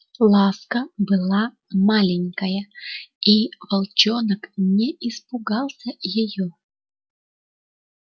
ласка была маленькая и волчонок не испугался её